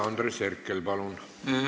Andres Herkel, palun!